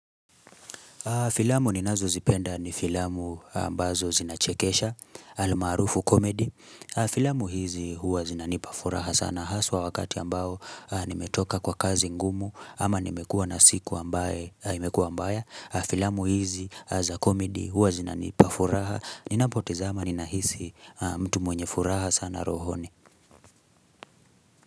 Filamu ninazozipenda ni filamu ambazo zinachekesha, almaarufu komedi. Filamu hizi huwa zinanipa furaha sana haswa wakati ambao nimetoka kwa kazi ngumu ama nimekua na siku ambayo imekua ambaya. Filamu hizi za komedi huwa zinanipa furaha. Ninapotazama ninahisi mtu mwenye furaha sana rohoni.